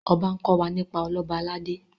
ọba nkò wá nípa Ọlọba aládé